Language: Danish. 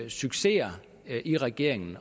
successer i regeringen